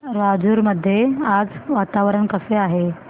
राजूर मध्ये आज वातावरण कसे आहे